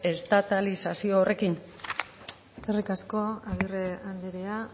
estatalizazio horrekin eskerrik asko agirre andrea